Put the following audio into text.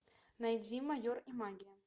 найди майор и магия